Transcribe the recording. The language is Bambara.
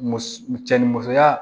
Muso cɛ ni musoya